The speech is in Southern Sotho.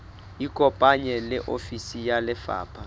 ikopanye le ofisi ya lefapha